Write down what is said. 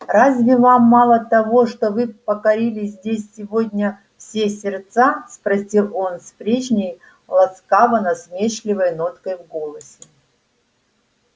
разве вам мало того что вы покорили здесь сегодня все сердца спросил он с прежней ласково-насмешливой ноткой в голосе